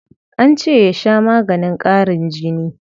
An ce ya sha maganin ƙarin jini.